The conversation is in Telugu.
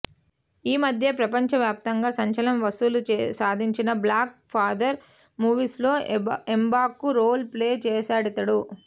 ఈ మధ్యే ప్రపంచవ్యాప్తంగా సంచలన వసూళ్లు సాధించిన బ్లాక్ పాంథర్ మూవీలో ఎంబాకు రోల్ ప్లే చేశాడితడు